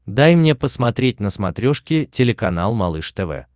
дай мне посмотреть на смотрешке телеканал малыш тв